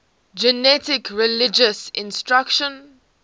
generic religious instruction